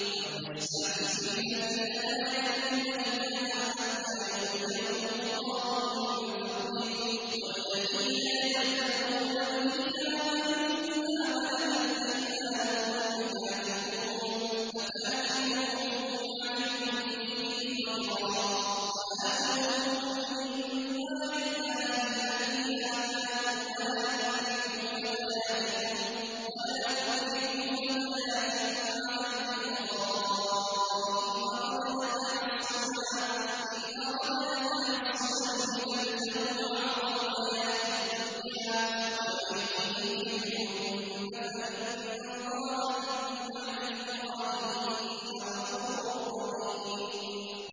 وَلْيَسْتَعْفِفِ الَّذِينَ لَا يَجِدُونَ نِكَاحًا حَتَّىٰ يُغْنِيَهُمُ اللَّهُ مِن فَضْلِهِ ۗ وَالَّذِينَ يَبْتَغُونَ الْكِتَابَ مِمَّا مَلَكَتْ أَيْمَانُكُمْ فَكَاتِبُوهُمْ إِنْ عَلِمْتُمْ فِيهِمْ خَيْرًا ۖ وَآتُوهُم مِّن مَّالِ اللَّهِ الَّذِي آتَاكُمْ ۚ وَلَا تُكْرِهُوا فَتَيَاتِكُمْ عَلَى الْبِغَاءِ إِنْ أَرَدْنَ تَحَصُّنًا لِّتَبْتَغُوا عَرَضَ الْحَيَاةِ الدُّنْيَا ۚ وَمَن يُكْرِههُّنَّ فَإِنَّ اللَّهَ مِن بَعْدِ إِكْرَاهِهِنَّ غَفُورٌ رَّحِيمٌ